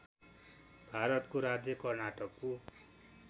भारतको राज्य कर्नाटकको